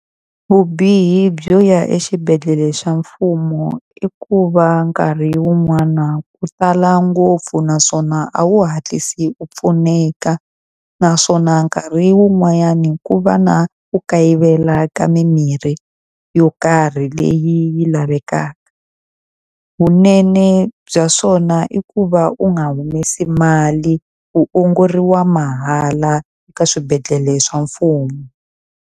Vubihi byo ya exibedhlele xa mfumo i ku va nkarhi wun'wana ku tala ngopfu naswona a wu hatlisi u pfuneka. Naswona nkarhi wun'wanyana ku va na ku kayivela ka mimirhi yo karhi leyi lavekaka. Vunene bya swona i ku va u nga humesi mali, u ongoriwa mahala eka swibedhlele swa mfumo.